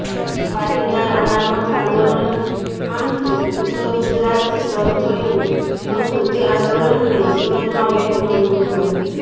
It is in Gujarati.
પાટીદાર અનામત અાંદોલન અામતો ઉત્તર ગુજરાતથી શરૂ થયુ હતુ તે અાંદોલનને સુરતમાં વેગ મળ્યો હતો